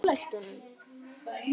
Vera nálægt honum?